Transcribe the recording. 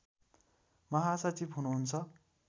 महासचिव हुनुहुन्छ